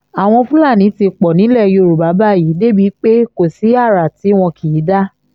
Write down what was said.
àwọn fúlàní ti pọ̀ nílẹ̀ yorùbá báyìí débìí pé kò sí ara tí wọn kì í dá